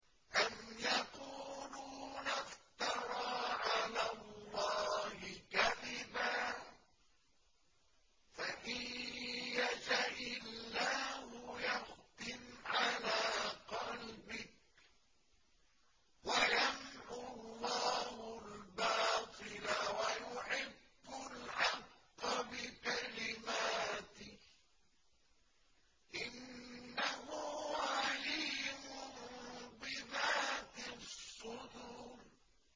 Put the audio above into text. أَمْ يَقُولُونَ افْتَرَىٰ عَلَى اللَّهِ كَذِبًا ۖ فَإِن يَشَإِ اللَّهُ يَخْتِمْ عَلَىٰ قَلْبِكَ ۗ وَيَمْحُ اللَّهُ الْبَاطِلَ وَيُحِقُّ الْحَقَّ بِكَلِمَاتِهِ ۚ إِنَّهُ عَلِيمٌ بِذَاتِ الصُّدُورِ